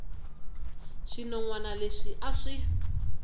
swinon wana leswi a swi